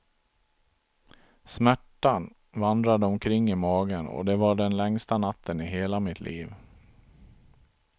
Smärtan vandrade omkring i magen och det var den längsta natten i hela mitt liv.